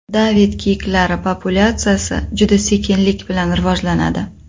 David kiyiklari populyatsiyasi juda sekinlik bilan rivojlanadi.